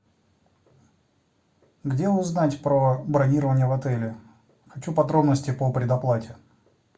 где узнать про бронирование в отеле хочу подробности по предоплате